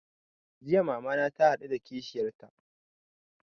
Jiya mama na ta haɗu da kishiyar ta